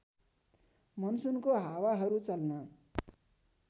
मनसुनको हावाहरू चल्न